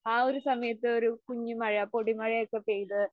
ആ ഒരു സമയത്ത് ഒരു കുഞ്ഞു മഴയാ പൊടി മഴയൊക്കെ പെയ്ത്